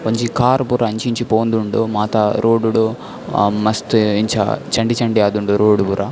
ಒಂಜಿ ಕಾರ್ ಪೂರ ಅಂಚಿ ಇಂಚಿ ಪೋವೊಂದುಂಡು ಮಾತ ರೋಡ್ ಡ್ ಮಸ್ತ್ ಅ ಇಂಚ ಚಂಡಿ ಚಂಡಿ ಆದುಂಡು ರೋಡ್ ಪೂರ.